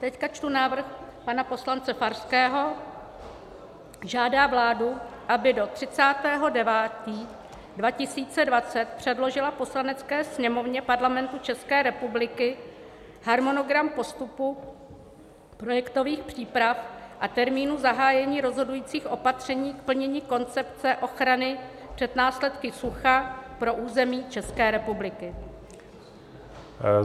Teď čtu návrh pana poslance Farského: "Žádá vládu, aby do 30. 9. 2020 předložila Poslanecké sněmovně Parlamentu České republiky harmonogram postupu projektových příprav a termínů zahájení rozhodujících opatření k plnění Koncepce ochrany před následky sucha pro území České republiky."